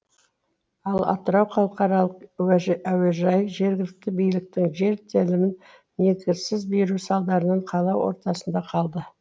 ал атырау халықаралық әуежайы жергілікті биліктің жер телімін негізсіз беруі салдарынан қала ортасында қалды